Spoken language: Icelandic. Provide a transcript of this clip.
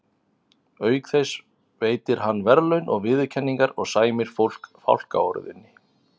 Auk þess veitir hann verðlaun og viðurkenningar og sæmir fólk fálkaorðunni.